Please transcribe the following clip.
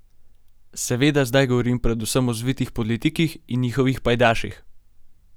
Seveda zdaj govorim predvsem o zvitih politikih in njihovih pajdaših.